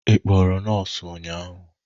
Ị kpọrọ nọọsụ ụnyahụ?